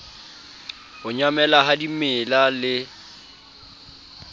ho nyamela ha dimela le